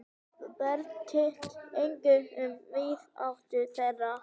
Breytti engu um vináttu þeirra.